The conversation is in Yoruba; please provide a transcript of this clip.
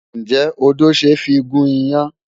Ǹjẹ́ odó ṣe é fi gún iyán?